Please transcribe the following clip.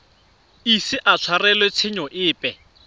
ise a tshwarelwe tshenyo epe